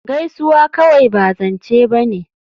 Gaisuwa kawai ba zance ba ne